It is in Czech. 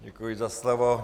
Děkuji za slovo.